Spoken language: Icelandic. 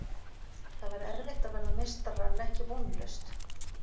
Það væri erfitt að verða meistarar en ekki vonlaust.